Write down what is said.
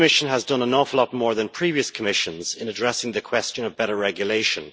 This Commission has done an awful lot more than previous Commissions in addressing the question of better regulation.